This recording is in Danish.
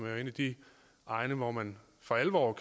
jo en af de egne hvor man for alvor